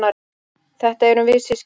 Þetta erum við systkinin.